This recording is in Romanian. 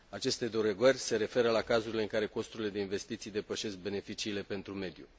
Aceste derogări se referă la cazurile în care costurile de investiții depășesc beneficiile pentru mediu.